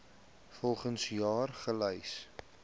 volgens jaar gelys